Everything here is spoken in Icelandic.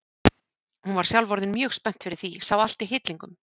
Hún var sjálf orðin mjög spennt fyrir því, sá allt í hillingum.